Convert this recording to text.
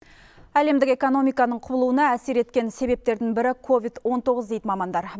әлемдік экономиканың құбылуына әсер еткен себептердің бірі ковид он тоғыз дейді мамандар